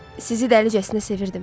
Sizi dəlicəsinə sevirdim.